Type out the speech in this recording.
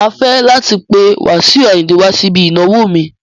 Mà á fẹ́ràn láti pé Wasiu Ayinde wá síbi ìnáwó mi.